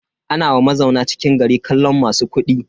Ana wa mazauna cikin gari kallon masu kuɗi.